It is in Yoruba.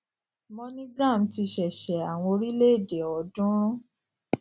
moneygram ti ṣẹsẹ àwọn orílẹèdè ọọdúnrún